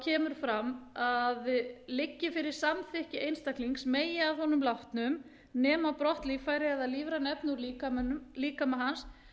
kemur fram að liggi fyrir samþykki einstaklings megi að honum látnum nema brott líffæri eða lífræn efni úr líkama hans